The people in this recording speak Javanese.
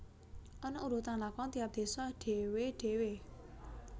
Ana urutan lakon tiap désa dhewè dhewè